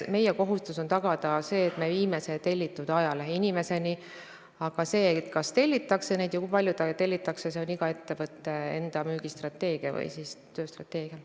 Meie kohustus on tagada, et me viiksime tellitud ajalehe inimeseni, aga see, kas neid ajalehti tellitakse ja kui palju neid tellitakse, oleneb iga ettevõtte müügistrateegiast või tööstrateegiast.